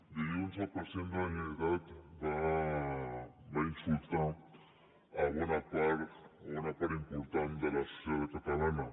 dilluns el president de la generalitat va insultar bona part o una part de la societat catalana